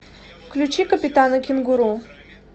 включи капитана кенгуру